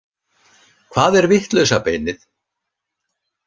Hvað er vitlausa beinið?